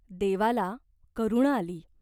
देवाला करुणा आली.